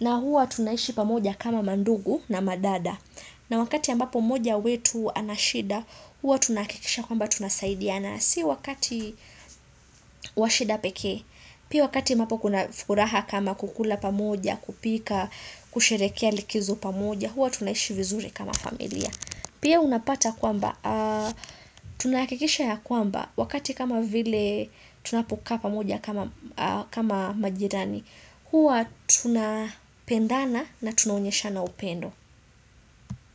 Na huwa tunaishi pamoja kama mandugu na madada. Na wakati ambapo moja wetu anashida, huwa tunahakikisha kwamba tunasaidiana.si wakati washida pekee. Pia wakati ambapo kuna furaha kama kukula pamoja, kupika, kusherehekea likizo pamoja. Huwa tunaishi vizuri kama familia Pia unapata kwamba Tunahakikisha ya kwamba Wakati kama vile Tunapokaa pamoja kama majirani Huwa tuna pendana na tuna onyesha na upendo.